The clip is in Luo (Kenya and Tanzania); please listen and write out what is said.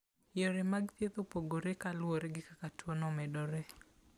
Yore mag thieth opogore ka luwore gi kaka tuwono omedore.